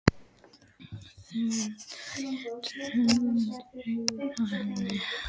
Það eru dökkir baugar undir augunum á henni.